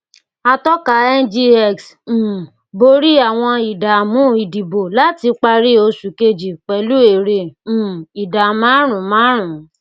atọka ngx um bọrí àwọn ìdààmú ìdìbò láti parí oṣù kejì pẹlú èrè um ìdá márùnún márùnún